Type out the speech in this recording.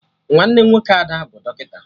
Nwanne nwoke Ada bụ dọkịta